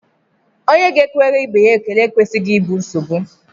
Onye ga-ekwere ibe ya ekele ekwesịghị ịbụ nsogbu